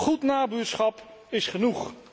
Goed nabuurschap is genoeg.